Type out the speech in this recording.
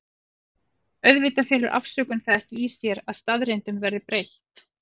Auðvitað felur afsökun það ekki í sér að staðreyndum verði breytt.